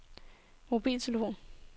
mobiltelefon